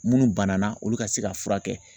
Minnu banana olu ka se ka furakɛ